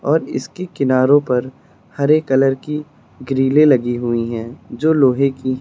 और इसकी किनारो पर हरे कलर की ग्रिले लगी हुई हैं जो लोहे की --